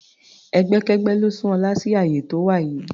Ẹgbẹ́kẹ́gbẹ́ ló sún Ọlá sí àyè tó wà yìí.